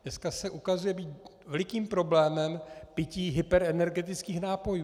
Dneska se ukazuje být velikým problémem pití hyperenergetických nápojů.